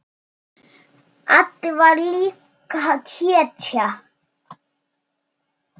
Addi var líka hetja.